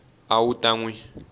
a wu ta n wi